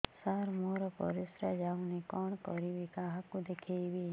ସାର ମୋର ପରିସ୍ରା ଯାଉନି କଣ କରିବି କାହାକୁ ଦେଖେଇବି